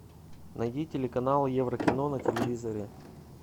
найди телеканал еврокино на телевизоре